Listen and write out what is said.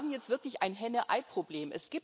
Wir haben jetzt wirklich ein Henne Ei Problem.